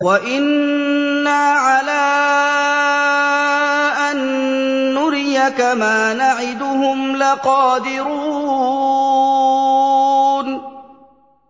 وَإِنَّا عَلَىٰ أَن نُّرِيَكَ مَا نَعِدُهُمْ لَقَادِرُونَ